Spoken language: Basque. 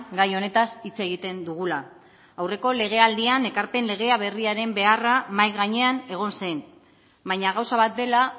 gai honetaz hitz egiten dugula aurreko legealdian ekarpen legea berriaren beharra mahai gainean egon zen baina gauza bat dela